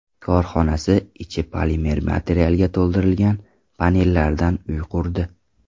korxonasi ichi polimer materialga to‘ldirilgan panellardan uy qurdi.